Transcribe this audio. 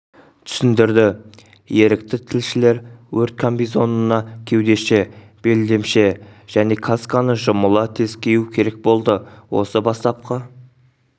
түсіндірді ерікті-тілшілер өрт комбинизонына кеудеше белдемше және касканы жұмыла тез кию керек болды осы бастапқы